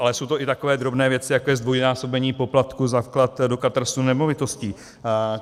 Ale jsou to i takové drobné věci, jako je zdvojnásobení poplatku za vklad do katastru nemovitostí.